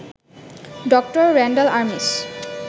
ড. র‍্যান্ডাল আরমিস